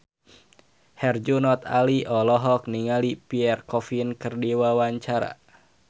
Herjunot Ali olohok ningali Pierre Coffin keur diwawancara